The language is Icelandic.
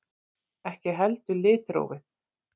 Ekki heldur litrófið.